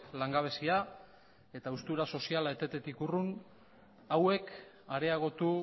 langabezia eta haustura soziala etetetik urrun hauek areagotu